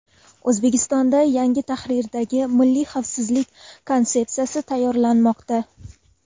O‘zbekistonda yangi tahrirdagi Milliy xavfsizlik konsepsiyasi tayyorlanmoqda.